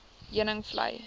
heuningvlei